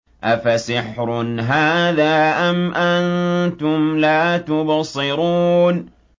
أَفَسِحْرٌ هَٰذَا أَمْ أَنتُمْ لَا تُبْصِرُونَ